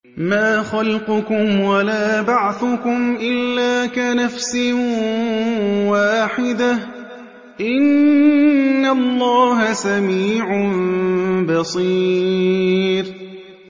مَّا خَلْقُكُمْ وَلَا بَعْثُكُمْ إِلَّا كَنَفْسٍ وَاحِدَةٍ ۗ إِنَّ اللَّهَ سَمِيعٌ بَصِيرٌ